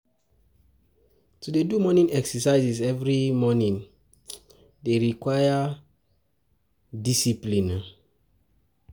To dey do morning exercise every um morning dey require dey require um discipline um o.